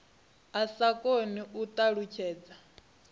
a sa koni u ṱalutshedza